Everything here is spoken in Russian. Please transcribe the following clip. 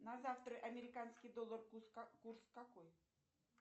на завтра американский доллар курс какой